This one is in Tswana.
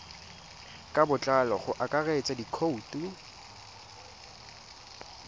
ka botlalo go akaretsa dikhoutu